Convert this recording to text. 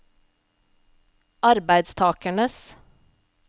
arbeidstakernes